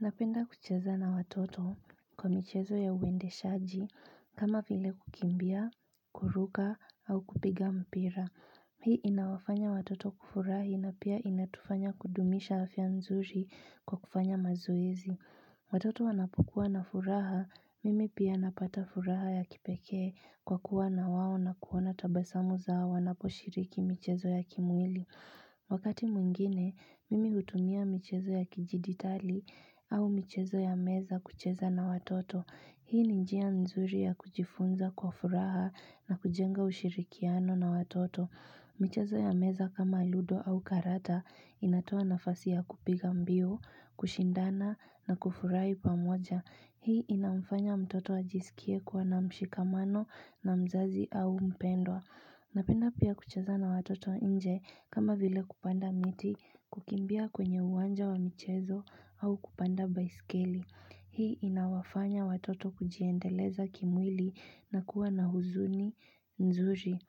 Napenda kucheza na watoto kwa michezo ya uendeshaji kama vile kukimbia, kuruka au kupiga mpira. Hii inawafanya watoto kufurahi na pia inatufanya kudumisha afya nzuri kwa kufanya mazoezi. Watoto wanapokuwa na furaha, mimi pia napata furaha ya kipekee kwa kuwa na wao na kuona tabasamu zao wanoposhiriki michezo ya kimwili. Wakati mwingine, mimi hutumia michezo ya kidijitali au michezo ya meza kucheza na watoto. Hii ni njia nzuri ya kujifunza kwa furaha na kujenga ushirikiano na watoto. Michezo ya meza kama ludo au karata inatoa nafasi ya kupiga mbiu, kushindana na kufurahi pamoja. Hii inamfanya mtoto ajisikie kuwa na mshikamano na mzazi au mpendwa. Napenda pia kucheza na watoto nje kama vile kupanda miti kukimbia kwenye uwanja wa michezo au kupanda baiskeli. Hii inawafanya watoto kujiendeleza kimwili na kuwa na huzuni nzuri.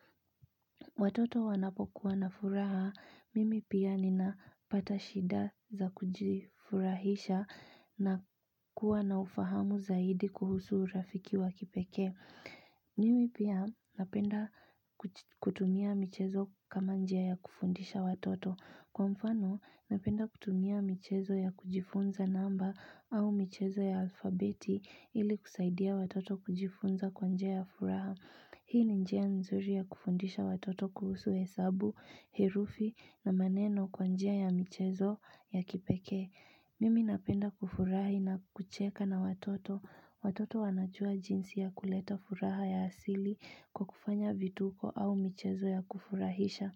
Watoto wanapokuwa na furaha, mimi pia nina pata shida za kujifurahisha na kuwa na ufahamu zaidi kuhusu urafiki wa kipeke. Mimi pia napenda kutumia michezo kama njia ya kufundisha watoto. Kwa mfano, napenda kutumia michezo ya kujifunza namba au michezo ya alfabeti ili kusaidia watoto kujifunza kwa njia ya furaha. Hii ni njia nzuri ya kufundisha watoto kuhusu hesabu, herufi na maneno kwa njia ya michezo ya kipekee Mimi napenda kufurahi na kucheka na watoto Watoto wanajua jinsi ya kuleta furaha ya asili kwa kufanya vituko au michezo ya kufurahisha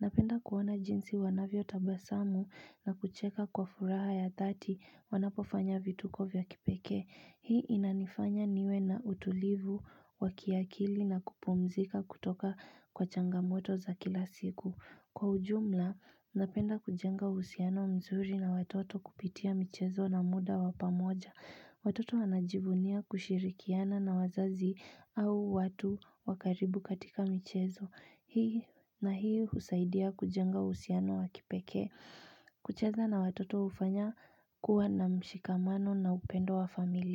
Napenda kuwaona jinsi wanavyotabasamu na kucheka kwa furaha ya dhati wanapofanya vituko vya kipekee Hii inanifanya niwe na utulivu wa kiakili na kupumzika kutoka kwa changamoto za kila siku. Kwa ujumla, napenda kujenga uhusiano mzuri na watoto kupitia michezo na muda wa pamoja. Watoto wanajivunia kushirikiana na wazazi au watu wa karibu katika michezo. Hii na hii husaidia kujenga uhusiano wa kipekee. Kucheza na watoto hufanya kuwa na mshikamano na upendo wa familia.